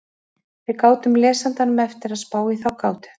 Við látum lesandanum eftir að spá í þá gátu.